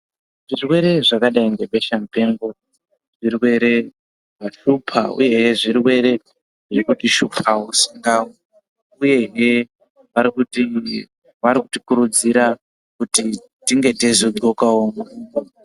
Zvirwere zvakadai ngebesha mupengo zvirwere zvashupa uye zvirwere zvirikutishupawo ......uyehe varikuti.. varikutikurudzira kuti tinge teizogxokawo ....